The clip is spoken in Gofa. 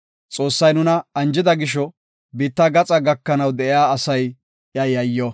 Xoossay nuna anjida gisho, biitta gaxaa gakanaw de7iya asay iya yayyo.